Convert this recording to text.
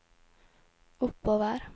oppover